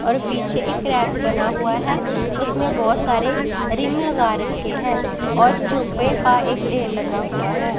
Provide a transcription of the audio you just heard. और पीछे एक रैक बना हुआ है उसमें बहुत सारे रिम लगा रखे हैं और चुपे का ढेर लगा हुआ है।